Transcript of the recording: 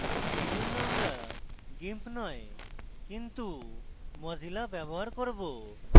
এইজন্য আমরা gimp নয় কিন্তু mozilla ব্যবহার করব